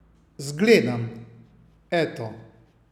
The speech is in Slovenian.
Zgledam, eto.